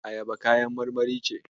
Ayaba kayan marmari ce.